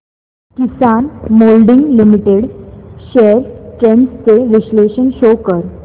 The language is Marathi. किसान मोल्डिंग लिमिटेड शेअर्स ट्रेंड्स चे विश्लेषण शो कर